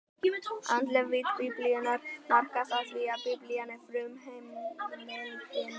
Andleg vídd Biblíunnar markast af því, að Biblían er frumheimildin um